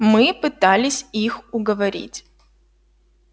мы пытались их уговорить